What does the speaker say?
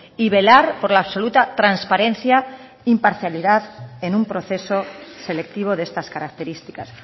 y velar por la absoluta transparencia e imparcialidad en un proceso selectivo de estas características